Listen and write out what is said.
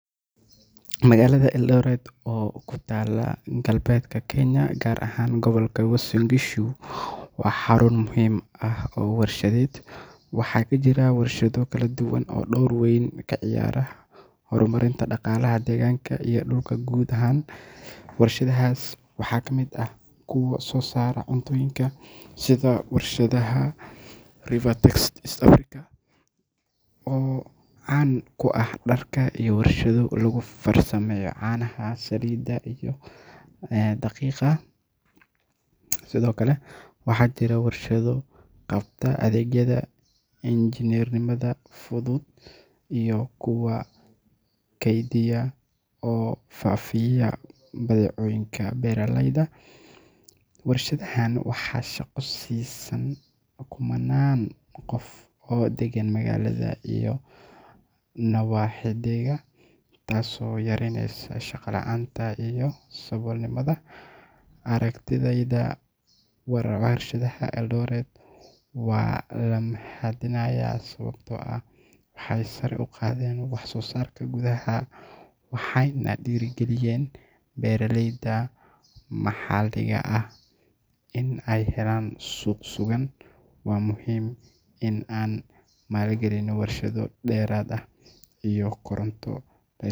Magalada Eldoret o kutaala galbedka Kenya gar ahaan goblaka Wasingishu waxa xaruun muhim ah warshadeed waxakajira warshada kala duwan dowr weeyn kaciyara hormarinta daqalaha deeganka iyo dulka guud ahan warshadahas waxa kamid aah kuwa sosaara cuntoyinka sida warshadaha River Taxis East Africa o caan kuah darka iyo lagu farsameeyo canaha, saliida iyo daqiqa sido kale waxajira warshado qabta adegyada Engineernimada fudud iyo kuwa keeydiya o faafiya badhecooyinka beeraleeyda. Warshadahan waxa shaqo siisaan kumanan qof o dagan magalada iyo nawaxigeeda taas o yareeyneysa shaqa laanta iyo sabool nimada aragtideyda warshadaha Eldoret wa lamahadinya sababto ah waxay sara uqadeen sosarka gudaha waxayna dhira galiyeen beeraleyda maxaliga ah in ay helan suq sugan wa muhim iin an maalgalino warshada derrad ah o Koronto leh.